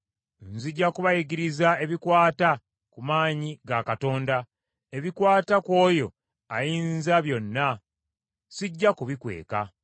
Nzija kubayigiriza ebikwata ku maanyi ga Katonda; ebikwata ku oyo Ayinzabyonna sijja kubikweka.